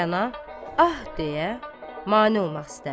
Rəna, ah deyə mane olmaq istər.